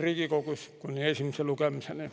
Riigikogus kuni esimese lugemiseni.